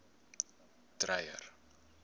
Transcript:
dreyer